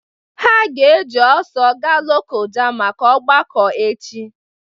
Ha ga-eji ọsọ gaa Lokoja maka ọgbakọ echi